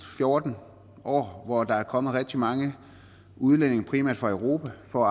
fjorten år hvor der er kommet rigtig mange udlændinge primært fra europa for